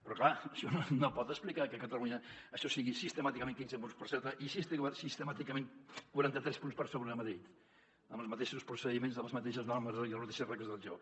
però clar això no pot explicar que a catalunya això sigui sistemàticament quinze punts per sota i sistemàticament quaranta tres punts per sobre a madrid amb els mateixos procediments les mateixes normes i les mateixes regles del joc